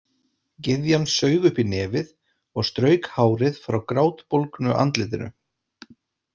Gyðjan saug upp í nefið og strauk hárið frá grátbólgnu andlitinu.